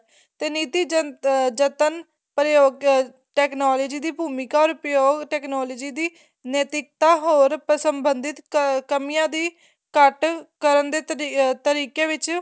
ਤੇ ਨਿੱਤੀ ਜਤਨ ਪ੍ਰਯੋਗ technology ਦੀ ਭੂਮਿਕਾ ਔਰ ਪ੍ਰਯੋਗ technology ਦੀ ਨੇਤਿਕਤਾਂ ਹੋਰ ਸੰਬਧਿਤ ਕਮੀਆਂ ਦੀ ਘੱਟ ਕਰਨ ਦੇ ਤਰੀਕ਼ੇ ਵਿੱਚ